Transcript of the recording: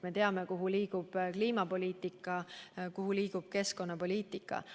Me teame, kuhu liigub kliimapoliitika ja kuhu liigub keskkonnapoliitika.